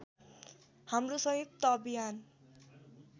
हाम्रो संयुक्त अभियान